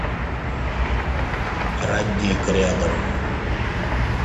родник рядом